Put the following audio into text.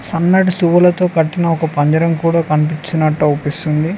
సనాటి శువులతో కఠిన ఒక పందిరం కుడా కనిపించినట్టు కనిపిస్తుంది.